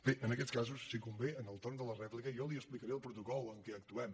bé en aquests casos si convé en el torn de la rèplica jo li explicaré el protocol amb què actuem